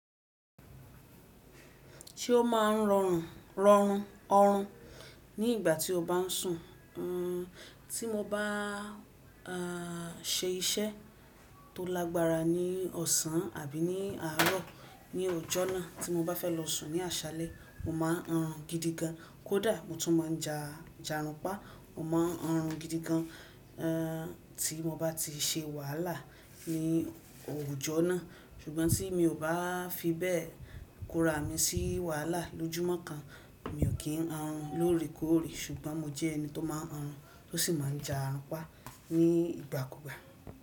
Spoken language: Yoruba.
Tí ó máa ń rọrùn, rọrun, ọrun ní ìgbà tí ó bá ń sùn. Tí mo bá a ṣe iṣẹ́ tó lágbára ní ọ̀sán àbí ní àárọ̀ ní òjọ́ náà tí mo bá fẹ́ lọ sùn ní àṣálẹ́, mo máa ń ranrun gidi gan. Kódà mo tún máa ja, jarun pá. Mo máa ń ranrin gidi gan tí mo bá ti ṣe wàhálà ní òwù jọ́ náà. Ṣùgbọ́n tí mi ò bá fi bẹ́ẹ̀ kóra mi sí wàhálà lójúmọ́ kan, mi ò kí ń ranrun lóòrèkóòrè. Ṣùgbọ́n mo jẹ́ ẹni tó máa ń ranrun tó sì máa jàrun pa ní ìgbàkúgbà.